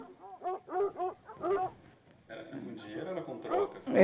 Era com dinheiro ou era com trocas?